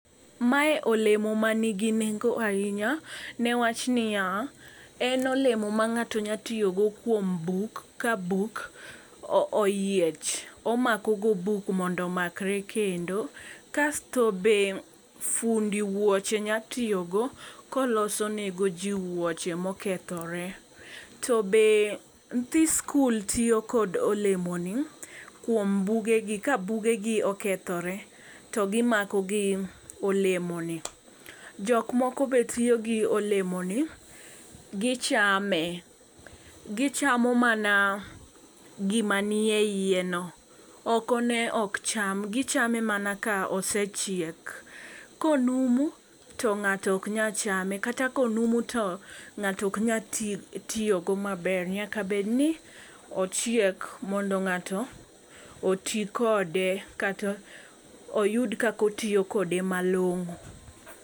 Mae olemo manigi nengo ahinya newach niya : en olemo ma ng'ato nya tiyo go kuom buk ka buk oyiech. Omako go buk mondo omakre kendo kasto be fundi wuoche nya tiyo go koloso ne go jii wuoche mokethore . To be nyithi skul tiyo kod olemo ni kuom bugegi ka bugegi okethore to gimako gi olemoni. Jok moko be tiyo gi olemo ni gichame gichamo mana gima nie iye no oko ne ok cham , gichame mana ka osechiek konumu to ng'ato ok nya chame kata konumu to ngato ok nya ti tiyo go maber nyaka bed ni ochiek mondo ng'ato otii kode kata oyud kako tiyo kode malong'o.